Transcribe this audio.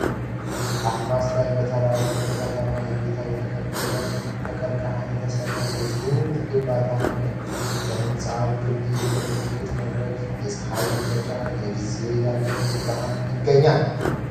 አድማስ ላይ በተራሮችና በከተማ እይታ የተከበበ ከቀርቀሃ የተሰራ ግዙፍ ግንባታ አለ። በህንጻው ግርጌ የምልከታ መድረክና የፀሐይ መጥለቂያ ጊዜ ያለው ብርሃን ይገኛል።